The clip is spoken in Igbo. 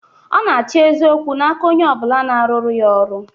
Ọ na-achọ eziokwu n'aka onye ọ bụla na-arụrụ ya ọrụ